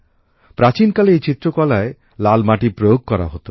প্রাচীনকালে এই চিত্রকলায় লাল মাটির প্রয়োগ করা হত